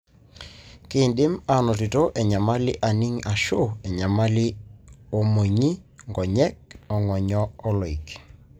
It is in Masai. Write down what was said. kindim anotito enyamali aning ashu enyamali omonyi, nkonyek, ongonyo oloik.